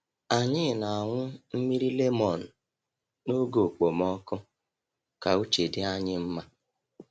Anyị na-aṅụ mmiri lemon n’oge okpomọkụ ka uche dị anyị mma.